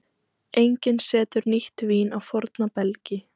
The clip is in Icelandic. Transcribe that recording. Enginn setur nýtt vín á forna belgi.